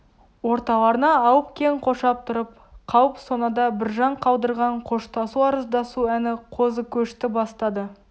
орталарына алып кең қоршап тұрып қалып сонада біржан қалдырған қоштасу арыздасу әні қозыкөшті бастады